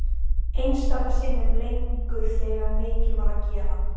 Einstaka sinnum lengur þegar mikið var að gera.